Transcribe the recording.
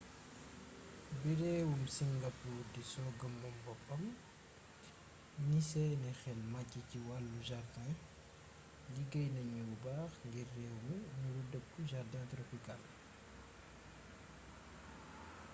bi réewum singapour di sooga moom boppam indépendance ñi seen xel màcci ci wàll jardin liggéey nañu bu baax ngir réew mi nuru dëkku jardin tropicale